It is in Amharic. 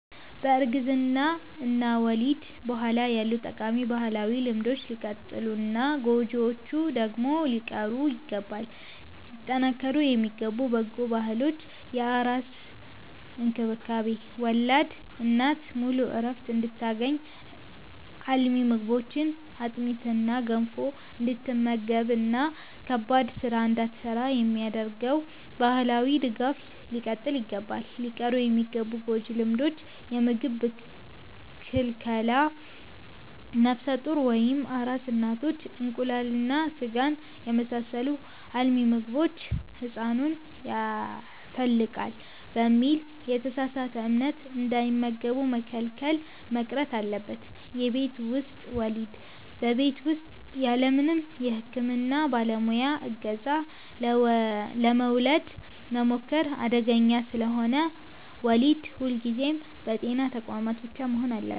ከእርግዝና እና ወሊድ በኋላ ያሉ ጠቃሚ ባህላዊ ልማዶች ሊቀጥሉና ጎጂዎቹ ደግሞ ሊቀሩ ይገባል። ሊጠናከሩ የሚገቡ በጎ ባህሎች፦ የአራስ እንክብካቤ፦ ወላድ እናት ሙሉ ዕረፍት እንድታገኝ፣ አልሚ ምግቦችን (አጥሚትና ገንፎ) እንድትመገብና ከባድ ሥራ እንዳትሠራ የሚደረገው ማኅበራዊ ድጋፍ ሊቀጥል ይገባል። ሊቀሩ የሚገቡ ጎጂ ልማዶች፦ የምግብ ክልከላ፦ ነፍሰ ጡር ወይም አራስ እናቶች እንቁላልና ሥጋን የመሳሰሉ አልሚ ምግቦችን «ሕፃኑን ያተልቃል» በሚል የተሳሳተ እምነት እንዳይመገቡ መከልከል መቅረት አለበት። የቤት ውስጥ ወሊድ፦ በቤት ውስጥ ያለምንም የሕክምና ባለሙያ ዕገዛ ለመውለድ መሞከር አደገኛ ስለሆነ፣ ወሊድ ሁልጊዜም በጤና ተቋማት ብቻ መሆን አለበት።